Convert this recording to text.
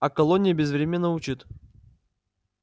а колония безвременно учит